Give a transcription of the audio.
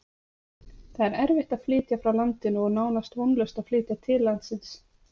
Það er erfitt að flytja frá landinu og nánast vonlaust að flytja til landsins.